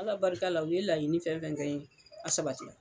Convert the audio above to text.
Ala barika la u ye laɲini fɛn fɛn kɛ n ye, a sabatira.